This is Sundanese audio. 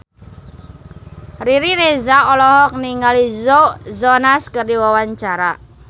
Riri Reza olohok ningali Joe Jonas keur diwawancara